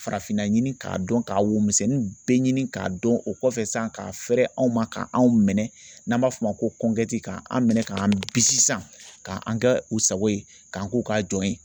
Farafinna ɲini k'a dɔn k'a wo misɛnnin bɛɛ ɲini k'a dɔn o kɔfɛ san k'a fɛrɛ aw ma k'an minɛ n'an b'a f'o ma ko k'an minɛ k'an bisi k'an an kɛ u sago ye k'an k'u k'a jɔ ye